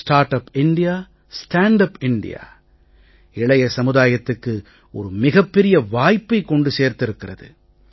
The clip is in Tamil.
start up India stand up India இளைய சமுதாயத்துக்கு ஒரு மிகப் பெரிய வாய்ப்பை கொண்டு சேர்த்திருக்கிறது